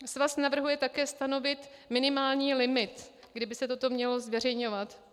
Svaz navrhuje také stanovit minimální limit, kdy by se toto mělo zveřejňovat.